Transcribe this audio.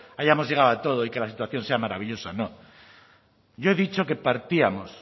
hayamos llegado a todo y que la situación sea maravillosa no yo he dicho que partíamos